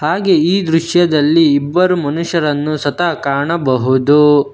ಹಾಗೆ ಈ ದೃಶ್ಯದಲ್ಲಿ ಇಬ್ಬರು ಮನುಷ್ಯರನ್ನು ಸತಹ ಕಾಣಬಹುದು.